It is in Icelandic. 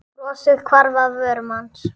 Brosið hvarf af vörum hans.